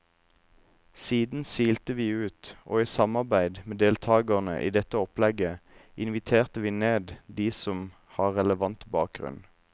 Siden silte vi ut, og i samarbeid med deltagerne i dette opplegget inviterte vi ned de som har relevant bakgrunn.